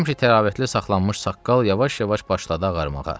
Həmişə təravətli saxlanmış saqqal yavaş-yavaş başladı ağarmağa.